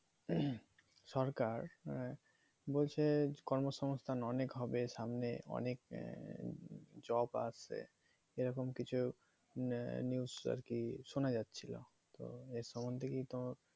সরকার মানে বলছে কর্ম সঙ্গস্থান অনেক হবে সামনে অনেক job আছে এরকম কিছু না news আর কি শোনা যাচ্ছিলো তো এর সম্বন্ধে কি তোর